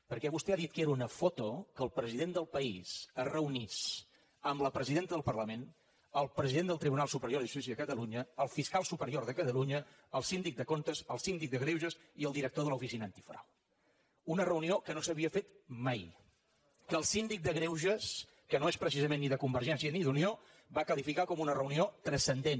perquè vostè ha dit que era una foto que el president del país es reunís amb la presidenta del parlament el president del tribunal superior de justícia de catalunya el fiscal superior de catalunya el síndic de comptes el síndic de greuges i el director de l’oficina antifrau una reunió que no s’havia fet mai que el síndic de greuges que no és precisament ni de convergència ni d’unió va qualificar com una reunió transcendent